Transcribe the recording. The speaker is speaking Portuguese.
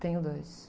Tenho dois.